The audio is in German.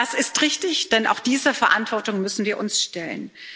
Das ist richtig, denn auch dieser Verantwortung müssen wir uns stellen.